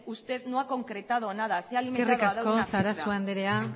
usted no ha concretado nada se ha alimentado eskerrik asko sarasua andrea